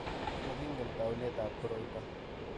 Mokingen taunetab koroito.